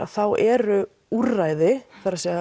eru úrræði það er